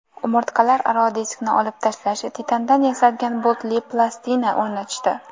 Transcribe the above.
Umurtqalararo diskni olib tashlab, titandan yasalgan boltli plastina o‘rnatishdi.